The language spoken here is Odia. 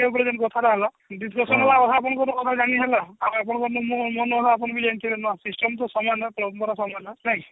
ବର୍ଷା ଟା ହେଲା ଯାନୀ ହେଲା ଆଉ ଆପଣଙ୍କର ମୁଁ ମନର ଆପଣ ବି ଯାନୀ ଥିବେ ନୂଆ system ଯେ ନାଇଁ